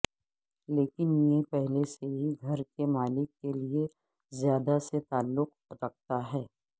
لیکن یہ پہلے سے ہی گھر کے مالک کے لئے زیادہ سے تعلق رکھتا ہے